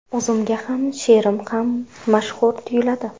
O‘zimga hamma she’rim ham mashhur tuyuladi.